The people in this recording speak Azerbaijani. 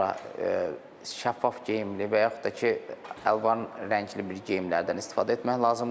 Bundan sonra şəffaf geyimli və yaxud da ki, əlvan rəngli bir geyimlərdən istifadə etmək lazımdır.